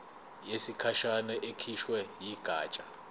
yesikhashana ekhishwe yigatsha